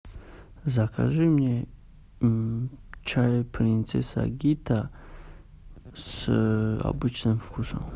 закажи мне чай принцесса гита с обычным вкусом